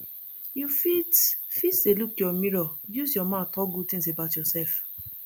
you fit fit dey lookyour mirror use your mouth talk good things about yourself